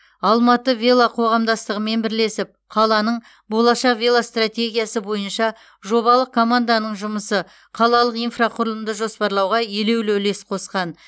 алматы вело қоғамдастығымен бірлесіп қаланың болашақ велостратегиясы бойынша жобалық команданың жұмысы қалалық инфрақұрылымды жоспарлауға елеулі үлес қосқан